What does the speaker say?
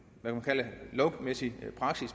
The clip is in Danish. man kalde det lovmæssig praksis